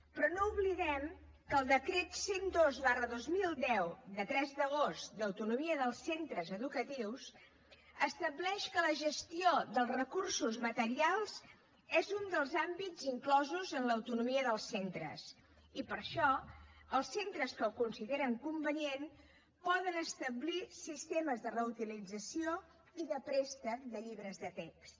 però no oblidem que el decret cent i dos dos mil deu de tres d’agost d’autonomia dels centres educatius estableix que la gestió dels recursos materials és un dels àmbits inclosos en l’autonomia dels centres i per això els centres que ho consideren convenient poden establir sistemes de reutilització i de préstec de llibres de text